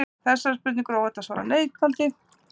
Þessari spurningu er óhætt að svara neitandi.